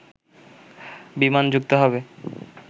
বিমান যুক্ত হবে